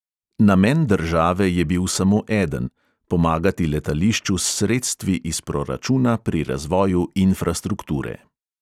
Namen države je bil samo eden – pomagati letališču s sredstvi iz proračuna pri razvoju infrastrukture.